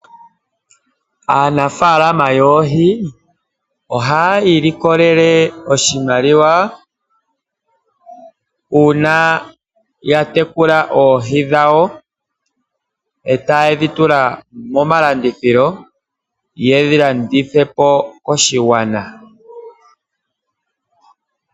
Aanafaalama yoohi ohaya ilikolele oshimaliwa una ya tekula oohi dhawo e ta ye dhi tula momalandithilo yedhi landithe po koshigwana.